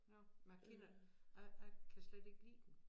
Nåh men jeg kender jeg jeg kan slet ikke lide dem